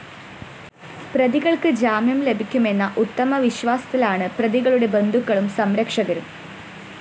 പ്രതികള്‍ക്ക് ജാമ്യം ലഭിക്കുമെന്ന ഉത്തമവിശ്വാസത്തിലാണ് പ്രതികളുടെ ബന്ധുക്കളും സംരക്ഷകരും